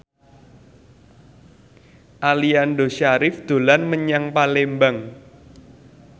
Aliando Syarif dolan menyang Palembang